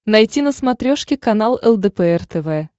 найти на смотрешке канал лдпр тв